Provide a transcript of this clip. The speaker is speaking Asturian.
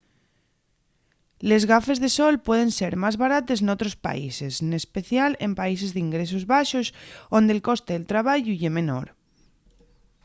les gafes de sol pueden ser más barates n'otros países n'especial en países d'ingresos baxos onde'l coste del trabayu ye menor